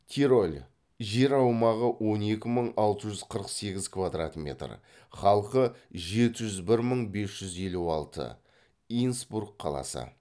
тироль жер аумағы он екі мың алты жүз қырық сегіз квадрат метр халқы жеті жүз бір мың бес жүз елу алты инсбрук қаласы